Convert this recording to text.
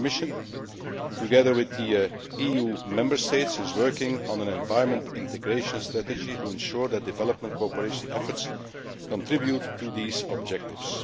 The Commission, together with the EU Member States, is working on an environmental integration strategy to ensure that development cooperation efforts contribute to these objectives.